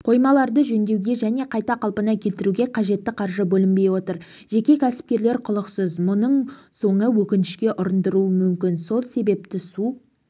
қоймаларды жөндеу және қайта қалпына келтіруге қажетті қаржы бөлінбей отыр жеке кәсіпкерлер құлықсыз мұның соңы өкінішке ұрындыруы мүмкін сол себепті су